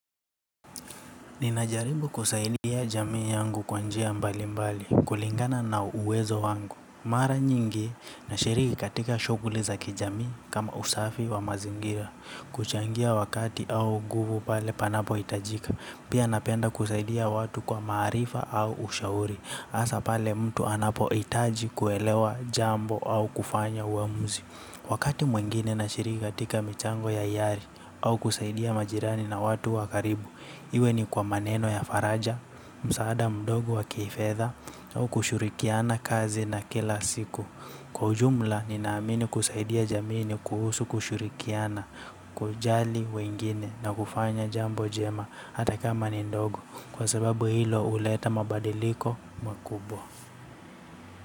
Ninajaribu kusaidia jamii yangu kwanjia mbali mbali kulingana na uwezo wangu. Mara nyingi na shiriki katika shuguli za kijamii kama usafi wa mazingira. Kuchangia wakati au guvu pale panapo hitajika. Pia napenda kusaidia watu kwa maarifa au ushauri asa pale mtu anapo hitaji kuelewa jambo au kufanya uamuzi. Wakati mwengine na shiriki katika michango ya ihari au kusaidia majirani na watu wakaribu. Iwe ni kwa maneno ya faraja, msaada mdogo wa kifedha au kushurikiana kazi na kila siku. Kwa ujumla, ninaamini kusaidia jamini kuhusu kushurikiana kujali wengine na kufanya jambo jema. Hata kama ni ndogo. Kwa sababu hilo huleta mabadiliko makubwa.